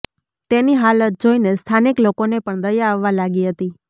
તેની હાલત જોઈને સ્થાનિક લોકોને પણ દયા આવવા લાગી હતી